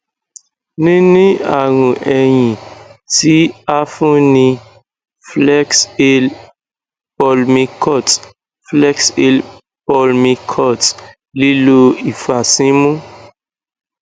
nini arun ehin ti a fun ni flexhale pulmicort flexhale pulmicort lilo ifasimu